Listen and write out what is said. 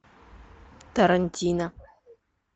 тарантино